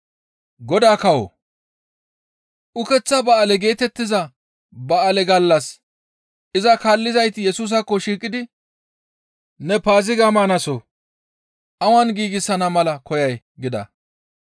Ukeththa ba7aale geetettiza ba7aale gallas iza kaallizayti Yesusaakko shiiqidi, «Ne Paaziga maanaso awan giigsana mala koyay?» gida.